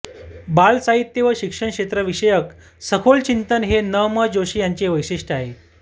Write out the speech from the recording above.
बालसाहित्य व शिक्षणक्षेत्राविषयक सखोल चिंतन हे न म जोशी यांचे वैशिष्ट्य आहे